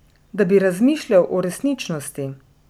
Da bi razmišljal o resničnosti.